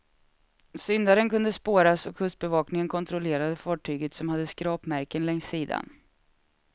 Syndaren kunde spåras och kustbevakningen kontrollerade fartyget, som hade skrapmärken längs sidan.